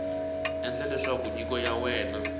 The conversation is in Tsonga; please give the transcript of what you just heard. endla leswaku nyiko ya wena